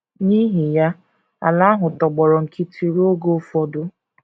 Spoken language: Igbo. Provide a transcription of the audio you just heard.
N’ihi ya, ala ahụ tọgbọrọ nkịtị ruo oge ụfọdụ.